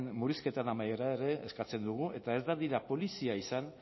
murrizketaren amaiera ere eskatzen dugu eta ez dadila polizia izan